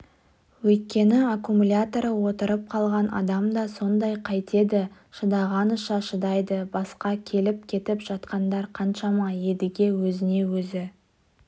өйткені аккумуляторы отырып қалған адам да сондай қайтеді шыдағанынша шыдайды басқа келіп-кетіп жатқандар қаншама едіге өзіне-өзі